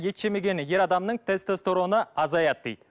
ет жемеген ер адамның тестестероны азаяды дейді